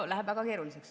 No läheb väga keeruliseks.